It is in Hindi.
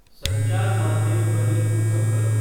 संचार माध्यम ध्वनि को कम करो